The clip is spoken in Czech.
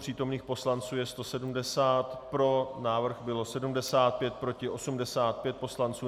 Přítomných poslanců je 170, pro návrh bylo 75, proti 85 poslanců.